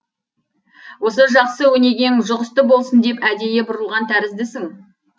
осы жақсы өнегең жұғысты болсын деп әдейі бұрылған тәріздісің